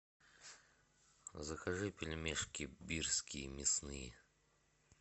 закажи пельмешки бирские мясные